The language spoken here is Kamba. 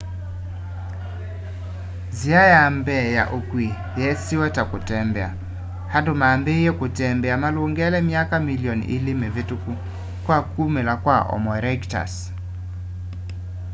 nzia ya mbee ya ukui yeesiwe ta kutembea andu mambiiie kutembea malungele myaka milioni ili mivituku kwa kumila kwa homo erectus